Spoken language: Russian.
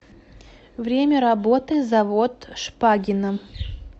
время работы завод шпагина